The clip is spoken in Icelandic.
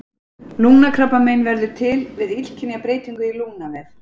Lungnakrabbamein verður til við illkynja breytingu í lungnavef.